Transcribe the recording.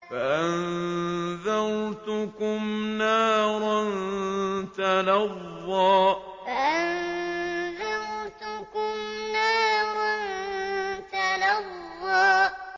فَأَنذَرْتُكُمْ نَارًا تَلَظَّىٰ فَأَنذَرْتُكُمْ نَارًا تَلَظَّىٰ